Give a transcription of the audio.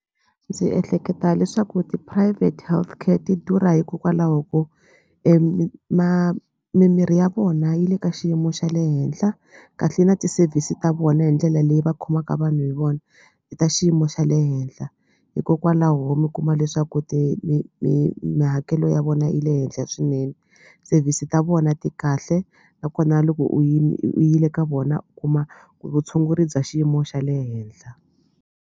Ndzi ehleketa leswaku ti-private healthcare ti durha hikokwalaho ko mimiri ya vona yi le ka xiyimo xa le henhla kahle na ti-service ta vona hi ndlela leyi va khomaka vanhu hi vona i ta xiyimo xa le henhla hikokwalaho mi kuma leswaku mihakelo ya vona yi le henhla swinene service ta vona ti kahle nakona loko u yi ni u u yi le ka vona u kuma vutshunguri bya xiyimo xa le henhla.